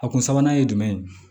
A kun sabanan ye jumɛn ye